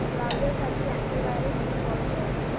browser साठी antivirus install कर